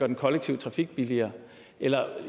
den kollektive trafik billigere eller